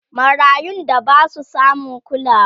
marayun da Basu samun kulawa